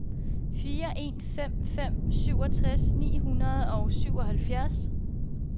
fire en fem fem syvogtres ni hundrede og syvoghalvfjerds